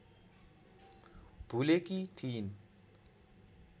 भुलेकी थिइन्